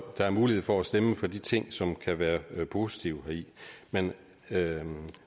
der er mulighed for at stemme for de ting som kan være positive heri men